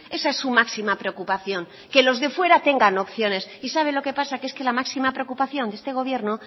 esa es su máxima preocupación que los de fuera tengan opciones y sabe lo que pasa que es que la máxima preocupación de este gobierno